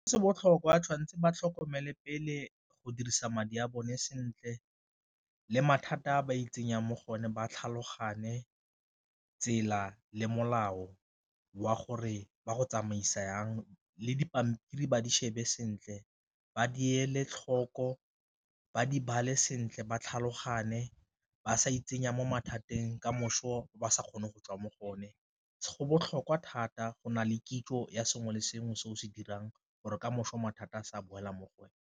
Se botlhokwa tshwanetseng ba tlhokomele pele go dirisa madi a bone sentle le mathata a ba itsenya mo gone ba tlhaloganye tsela le molao wa gore ba go tsamaisa jang, le dipampiri ba di shebe sentle ba di ele tlhoko ba di bale sentle ba tlhaloganye, ba sa itsenya mo mathateng kamoso ba sa kgone go tswa mo go o ne, go botlhokwa thata go na le kitso ya sengwe le sengwe se o se dirang gore kamoso mathata a sa boela mo go wena.